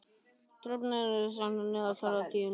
Dröfn, stilltu niðurteljara á níutíu og eina mínútur.